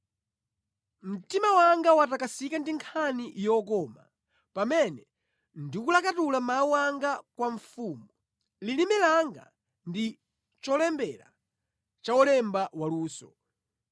Mtima wanga watakasika ndi nkhani yokoma pamene ndikulakatula mawu anga kwa mfumu; lilime langa ndi cholembera cha wolemba waluso.